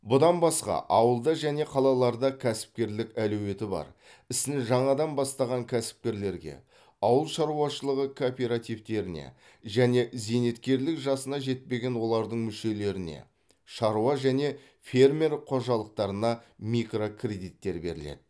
бұдан басқа ауылда және қалаларда кәсіпкерлік әлеуеті бар ісін жаңадан бастаған кәсіпкерлерге ауыл шаруашылығы кооперативтеріне және зейнеткерлік жасына жетпеген олардың мүшелеріне шаруа және фермер қожалықтарына микрокредиттер беріледі